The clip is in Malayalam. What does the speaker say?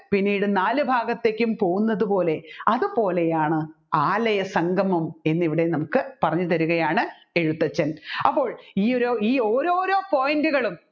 പിന്നീട് നാനാലുഭാഗത്തേക്കും പോകുന്നത് പോലെ അതുപോലെയാണ് ആലയസംഗമം എന്ന് ഇവിടെ നമ്മുക്ക് പറഞ്ഞുതരികയാണ് എഴുത്തച്ഛൻ അപ്പോൾ ഈ ഒരു ഈ ഓരോരോ point റ്റുകളും